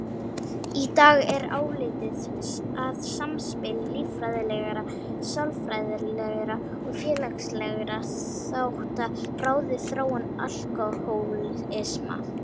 Í dag er álitið að samspil líffræðilegra, sálfræðilegra og félagslegra þátta ráði þróun alkóhólisma.